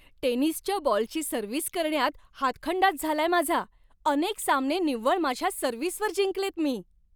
टेनिसच्या बॉलची सर्व्हिस करण्यात हातखंडाच झालाय माझा. अनेक सामने निव्वळ माझ्या सर्व्हिसवर जिंकलेत मी.